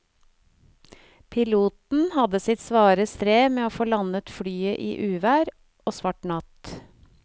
Piloten hadde sitt svare strev med å få landet flyet i uvær og svart natt.